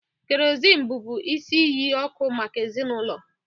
Kerosene bụbu isi iyi ọkụ maka ezinaụlọ.